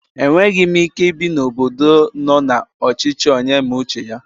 Enweghi m Ike ibi n'obodo nọ na ọchichi onye mee uche ya